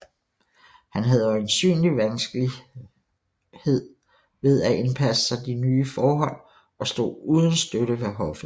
Han havde øjensynlig vanskelighed ved at indpasse sig i de nye forhold og stod uden støtte ved hoffet